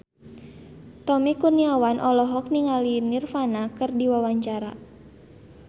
Tommy Kurniawan olohok ningali Nirvana keur diwawancara